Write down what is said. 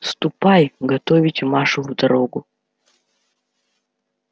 ступай готовить машу в дорогу